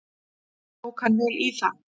Tók hann vel í það.